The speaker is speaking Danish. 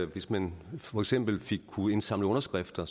hvis man for eksempel kunne indsamle underskrifter